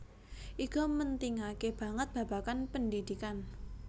Iga mentingake banget babagan pendhidhikan